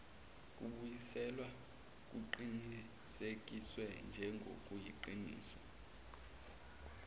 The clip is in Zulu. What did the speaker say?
kubuyiselwa kuqinisekiswe njengokuyiqiniso